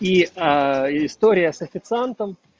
и история с официантом